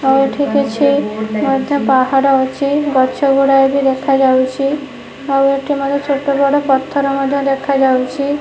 ଆଉ ଏଠି କିଛି ମଧ୍ୟ ପାହାଡ ଅଛି ଗଛ ଗୁଡାଏ ବି ଦେଖାଯାଉଛି ଆଉ ଏଠି ମଧ୍ୟ ଛୋଟ ବଡ଼ ପଥର ମଧ୍ୟ ଦେଖାଯାଉଛି।